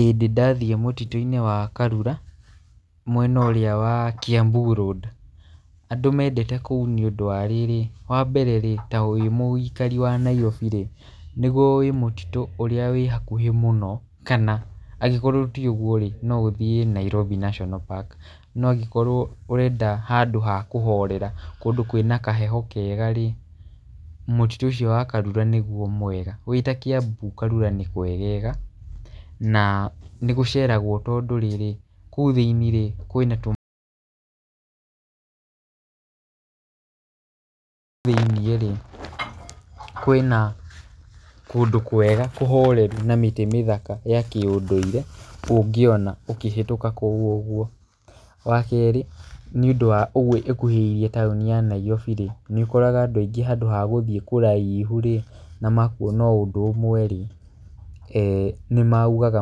Ĩĩ ndĩ nathiĩ mũtitũ-inĩ wa karura mwena ũrĩa wa Kiambu Road , andũ mendete kũu nĩũndũ wa rĩrĩ, wambere rĩ, wĩ mũikari wa Nairobi rĩ, nĩguo mũtitũ wa hakuhĩ mũno, kana angĩkorwo ti ũguo rĩ, no ũthiĩ Nairobi Nationa Park, no ũngĩkorwo ũrenda handũ ha kũhorera kũndũ kwĩna kaheho kega rĩ, mũtitũ ũcio wa Karura nĩguo mwega. Wĩta kĩambu karura nĩ kwegega nanĩgũceragwo tondũ rĩrĩ, kũu thiĩni rĩ, kwĩna tũ thĩiniĩ rĩ, kwĩna kũndũ kwega kũhoreru na mĩtĩ mĩthaka ya kĩũndũire, ũngĩona ũkĩhetũka kũu ũguo. Wa kerĩ, nĩũndũ wa ũguo ĩkuhĩrĩirie taũni ya nairobi rĩ, nĩũkoraga andũ aingĩ handũ wa gũthiĩ haraihu rĩ, na makuona o ũndũ ũmwe rĩ, nĩmaugaga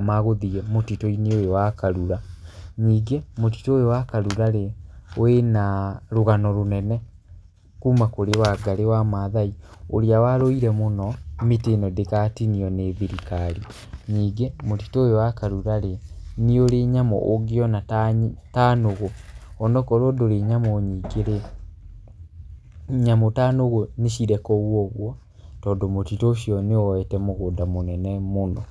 magũthiĩ mũtitũinĩ ũyũ wa karura, ningĩ mũtitũ ũyũ wa karura rĩ, wĩna rũgano rũnene kuma kũrĩ Wangarĩ Wa Mathai ũria warũire mũno mĩtĩ ĩno ndĩgatinio nĩ thirikari. Ningĩ mũtitũ ũyũ wa karura rĩ, nĩ ũrĩ nyamũ ũngĩona ta nũgũ, onokorwo ndũrĩ nyamũ nyingĩ rĩ, nyamũ ta nũgũ nĩcirĩ kũu ũguo, tondũ mũtitũ ũcio nĩwoyete mũgũnda mũnene mũno.